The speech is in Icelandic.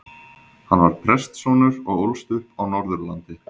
Hann var prestssonur og ólst upp á Norðurlandi.